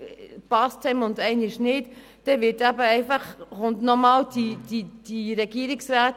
Damit wird das Referendumsrecht der Stimmbürgerinnen und Stimmbürger unterhöhlt.